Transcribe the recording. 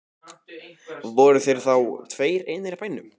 Voru þeir þá tveir einir í bænum.